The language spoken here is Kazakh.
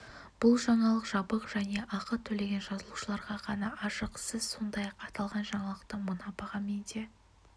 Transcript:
бұл жаңалық жабық және ақы төлеген жазылушыларға ғана ашық сіз сондай-ақ аталған жаңалықты мына бағамен де